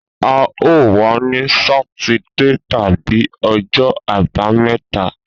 A o wa ni Sátidé tabi ọjọ abameta